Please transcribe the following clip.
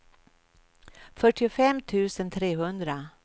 fyrtiofem tusen trehundra